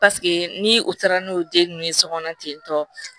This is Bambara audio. Paseke ni u taara n'o den ninnu ye sokɔnɔ ten tɔ